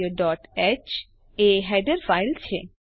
હ stdioહ એ હેડર ફાઈલ છે